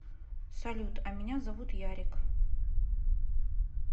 салют а меня зовут ярик